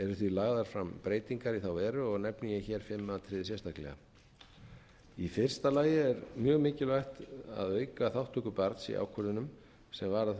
eru því lagðar fram breytingar í slíka veru nefni ég fimm atriði sérstaklega í fyrsta lagi er mjög mikilvægt að auka þátttöku barns í ákvörðunum sem varða það